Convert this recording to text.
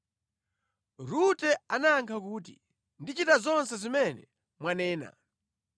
Rute anayankha kuti, “Ndichita zonse zimene mwanena.”